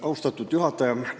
Austatud juhataja!